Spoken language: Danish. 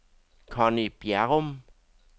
Conny Bjerrum